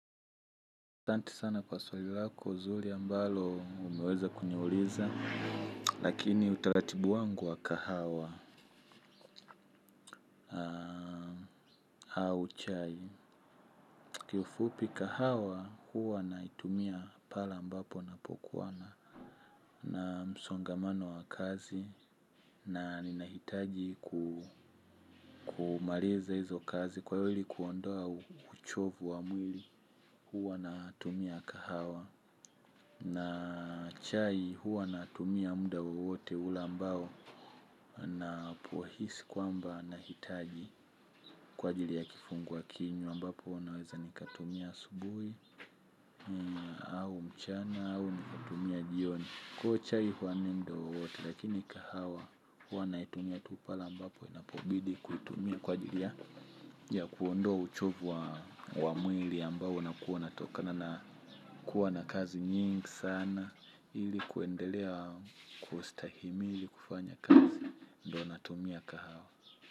Asante sana kwa swali lako zuri ambalo umeweza kuniuliza, lakini utalatibu wangu wa kahawa au chai. Kifupi kahawa huwa naitumia pale mbapo napokuwana na msongamano wa kazi na ninahitaji kumaliza hizo kazi kwa hili kuondoa uchovu wa mwili huwa na tumia kahawa. Na chai huwa natumia muda wowote ula mbao napohisi kwamba nahitaji kwa jili ya kifunga kinywa ambapo naweza nikatumia subuhi au mchana au nikatumia jioni. Kwahiyo chai huwa na mda wowote lakini kahawa huwa naitumia tu pale ambapo inapobidi kuitumia. Kwa jili ya kuondoa uchovu wa mwili ambao unakuwa unatoka na kuwa na kazi nyingi sana ilikuendelea kustahimili kufanya kazi ndio natumia kahawa.